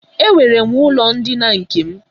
Enwere m ụlọ ndina nke m.